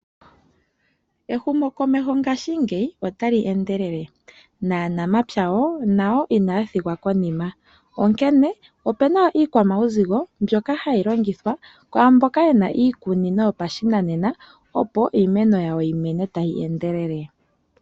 Ehumokomeho ngashingeyi otali endelele, naanamapya wo inaya thigwa konima. Opuna iikwamawuzigo mbyoka hayi longithwa kwaamboka yena iikunino yopashinanena, opo iimeno yawo yimeme tayi endelele.